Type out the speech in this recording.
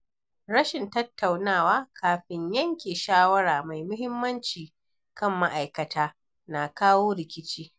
Rashin tattaunawa kafin yanke shawara mai muhimmanci kan ma’aikata na kawo rikici.